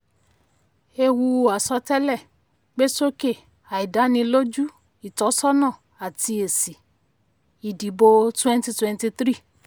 ewu àsọtẹlẹ gbé sókè àìdániloju ìtọ́sọ́nà àti èsì ìdìbò twenty twenty three.